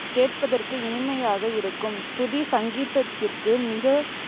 கேட்பதற்கு இனிமையாக இருக்கும். சுருதி சங்கீதத்திற்கு மிகப்